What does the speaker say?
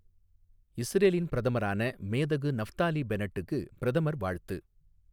இஸ்ரேலின் பிரதமரான மேதகு நஃப்தாலி பென்னட்டுக்கு பிரதமர் வாழ்த்து